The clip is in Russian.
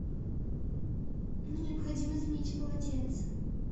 мне необходимо заменить полотенце